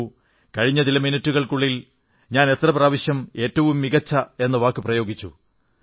നോക്കൂ കഴിഞ്ഞ ചില മിനിട്ടുകൾക്കുള്ളിൽ ഞാൻ എത്ര പ്രാവശ്യം ഏറ്റവും മികച്ച എന്ന വാക്കു പ്രയോഗിച്ചു